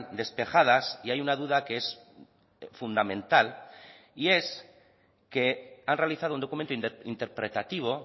despejadas y hay una duda que es fundamental y es que han realizado un documento interpretativo